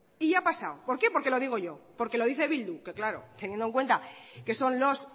ya ha pasado por qué porque lo digo yo porque lo dice bildu que claro teniendo en cuenta que son los